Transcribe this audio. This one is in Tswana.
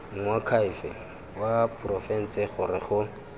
moakhaefe wa porofense gore go